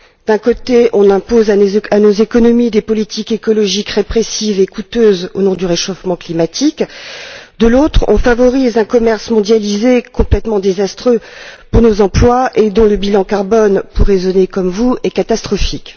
D'un côté, on impose à nos économies des politiques écologiques répressives et coûteuses au nom du réchauffement climatique et, de l'autre, on favorise un commerce mondialisé complètement désastreux pour nos emplois et dont le bilan carbone, pour raisonner comme vous, est catastrophique.